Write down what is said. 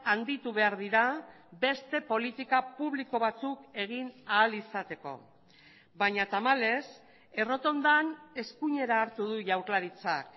handitu behar dira beste politika publiko batzuk egin ahal izateko baina tamalez errotondan eskuinera hartu du jaurlaritzak